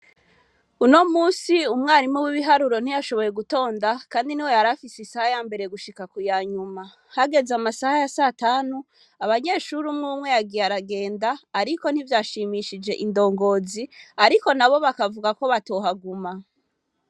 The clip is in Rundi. Uno musi umwarimu w'ibiharuro ntiyashoboye gutonda, kandi niwe yarafise isaha ya mbere gushika ku yanyuma, hageze amasaha ya satanu abanyeshuri umwumwe yagiye aragenda ariko ntivyashimishije indongozi, ariko nabo bakavuga ko batohaguma.